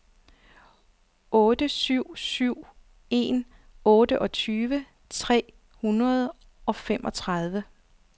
otte syv syv en otteogtyve tre hundrede og femogtredive